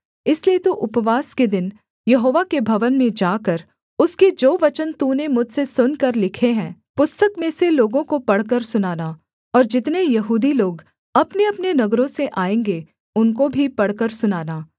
इसलिए तू उपवास के दिन यहोवा के भवन में जाकर उसके जो वचन तूने मुझसे सुनकर लिखे हैं पुस्तक में से लोगों को पढ़कर सुनाना और जितने यहूदी लोग अपनेअपने नगरों से आएँगे उनको भी पढ़कर सुनाना